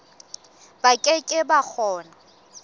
ba ke ke ba kgona